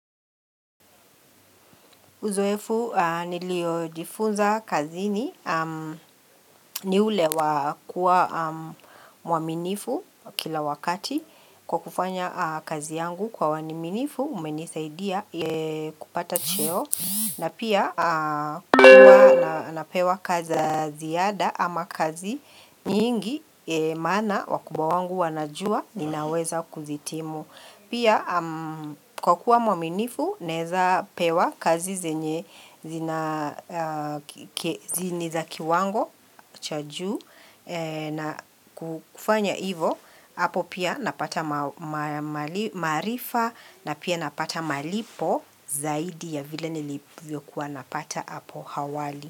Uzoefu niliojifunza kazini ni ule wa kuwa mwaminifu kila wakati kwa kufanya kazi yangu kwa waniminifu umenisaidia kupata cheo na pia kuwa napewa kazi ziyada ama kazi nyingi mana wakubwa wangu wanajua ninaweza kuzitimu. Pia kukua mwaminifu neza pewa kazi zenye ziniza kiwango chajuu na kufanya ivo, hapo pia napata marifa na pia napata malipo zaidi ya vile nilivio kuwa napata hapo hawali.